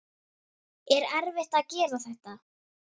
Er erfitt að gera þetta?